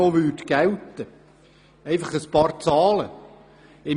Damit Sie es wissen, gebe ich Ihnen ein paar Zahlen an: